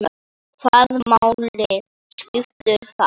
Hvaða máli skiptir það?